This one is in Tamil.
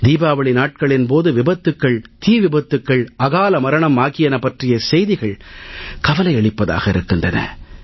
தீபாவளி நாட்களின் போது விபத்துக்கள் தீவிபத்துக்கள் அகால மரணம் ஆகியன பற்றிய செய்திகள் கவலையளிப்பதாக இருக்கின்றன